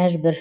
мәжбүр